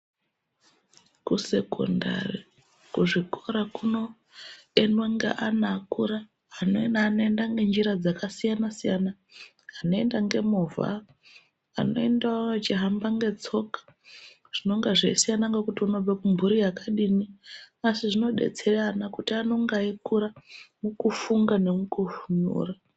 Kusekondari kuzvikora kunoendwa ngeana akura. Amweni anoenda ngenjira dzakasiyana-siyana, anoenda ngemovha, anoendawo vachihamba ngetsoka zvinonga zveisiyana ngekuti unobve kumburi yakadini. Asi zvodetseya ana kuti anonga eikura, mukufunga nemukunyora.